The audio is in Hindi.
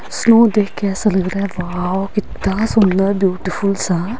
स्नो देख के ऐसा लगा रहा हैं वॉव कितना सुंदर ब्यूटीफुल सा--